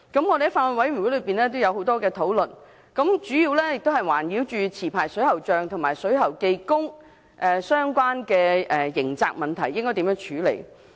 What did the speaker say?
我們在法案委員會進行了很多討論，主要圍繞持牌水喉匠和水喉技工相關的刑責問題，應該如何處理。